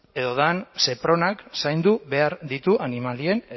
edo den sepronak zaindu behar ditu animalien